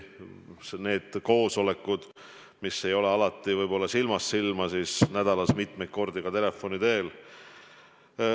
Need koosolekud ei ole alati toimunud silmast silma, aga nädalas mitmeid kordi on asju arutatud telefoni teel.